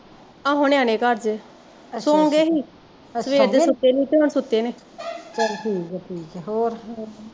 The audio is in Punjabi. ਆਹੋ ਨਿਆਣੇ ਘਰ ਜੇ ਸੋ ਗਏ ਸੀ ਸਵੇਰ ਦੇ ਸੁੱਤੇ ਨੀ ਤੇ ਹੁਣ ਸੁੱਤੇ ਨੇ